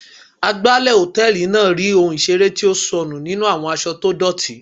Agbálẹ̀ hòtẹ́ẹ̀lì náà rí ohun ìseré tó sọnù nínú àwọn aṣọ tó dọ́tì.